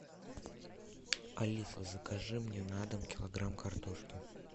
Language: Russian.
алиса закажи мне на дом килограмм картошки